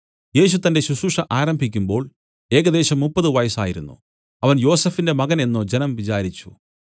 യേശു തന്റെ ശുശ്രൂഷ ആരംഭിക്കുമ്പോൾ ഏകദേശം മുപ്പത് വയസ്സായിരുന്നു അവൻ യോസഫിന്റെ മകൻ എന്നു ജനം വിചാരിച്ചു